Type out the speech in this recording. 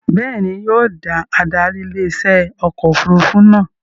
Bẹ́ẹ̀ni, yóò da adarí ilé iṣẹ́ ọkọ̀ òfurufú náà